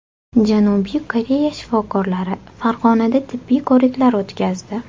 Janubiy Koreya shifokorlari Farg‘onada tibbiy ko‘riklar o‘tkazdi.